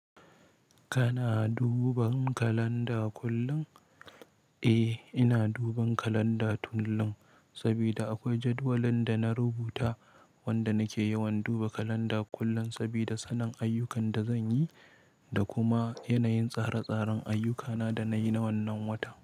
Kana duban kalanda kullum? Eh, ina duban kalanda kullum sabida akwai jadawalin da na rubuta wanda nake yawan duba kalanda kullum sabida sanin ayyukan da zan yi da kuma yanayin tsare-tsaren ayyukana da na yi na wannan wata.